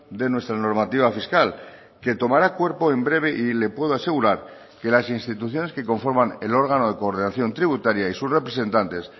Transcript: de nuestra normativa fiscal que tomará cuerpo en breve y le puedo asegurar que las instituciones que conforman el órgano de coordinación tributaria y sus representantes